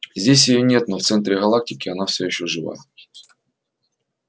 здесь её нет но в центре галактики она всё ещё жива